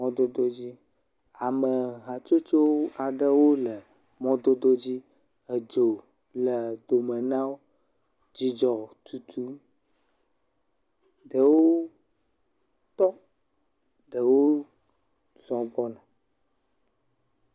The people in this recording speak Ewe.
Mɔdodo dzi. Ame hatsotso aɖe wo le mɔdodo dzi. Edzo le gome na wo. Dzidzɔ tutum. Ɖewo tɔ. ɖewo zɔ gbgɔna.